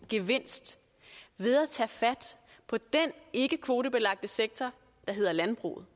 gevinst ved at tage fat på den ikkekvotebelagte sektor der hedder landbruget